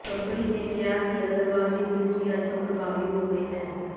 company ਨੇ ਕਿਹਾ ਕਿ ਅਗਰਵਾਲ ਦੀ ਨਿਯੁਕਤੀ ਅੱਜ ਤੋਂ ਪ੍ਰਭਾਵੀ ਹੋ ਗਈ ਹੈ